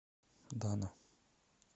дана